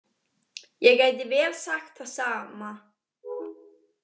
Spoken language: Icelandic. Ég gæti vel sagt það sama.